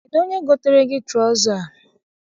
Kedụ onye goteere gị traụza a?